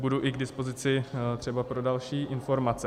Budu i k dispozici třeba pro další informace.